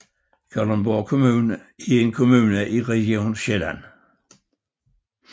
Kalundborg Kommune er en kommune i Region Sjælland